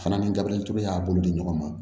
Fana ni gabirituru y'a bolo di ɲɔgɔn ma